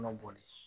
Kɔnɔ boli